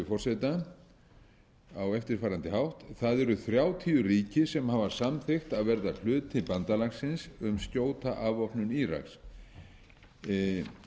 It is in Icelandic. með leyfi forseta á eftirfarandi hátt það eru þrjátíu ríki sem hafa samþykkt að verða hluti bandalagsins um skjóta afvopnun íraks ég þyrfti